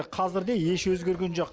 қазір де еш өзгерген жоқ